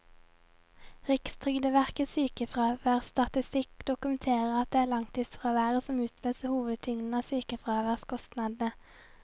Rikstrygdeverkets sykefraværsstatistikk dokumenterer at det er langtidsfraværet som utløser hovedtyngden av sykefraværskostnadene.